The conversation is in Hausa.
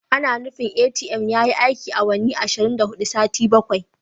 Ana nufin ATM yayi aiki awanni ashirin da hudu sati bakwai.